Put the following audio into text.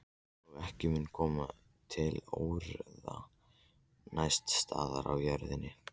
Og ekki mun koma til óeirða neins staðar á jörðinni.